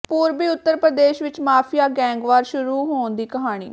ਪੂਰਬੀ ਉੱਤਰ ਪ੍ਰਦੇਸ਼ ਵਿੱਚ mafia gang war ਸ਼ੁਰੂ ਹੋਣ ਦੀ ਕਹਾਣੀ